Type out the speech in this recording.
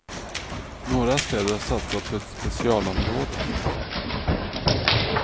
Några städer har satsat på ett specialområde.